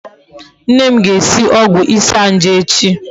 Nne m ga-esi ogwu isanaje echi